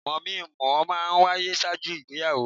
Mọ̀-mí - n-mọ̀-ọ́ máa ń wáyé ṣáájú ìgbéyàwó.